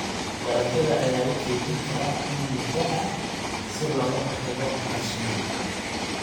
Dalagyada ayaa la kaydin karaa in muddo ah si looga hortago qashinka.